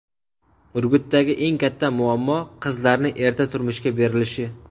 Urgutdagi eng katta muammo qizlarni erta turmushga berilishi.